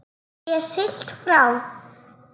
Sé siglt frá